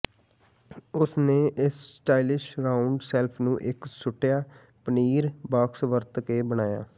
ਉਸ ਨੇ ਇਸ ਸਟਾਈਲਿਸ਼ ਰਾਉਂਡ ਸ਼ੈਲਫ ਨੂੰ ਇੱਕ ਸੁੱਟਿਆ ਪਨੀਰ ਬਾਕਸ ਵਰਤ ਕੇ ਬਣਾਇਆ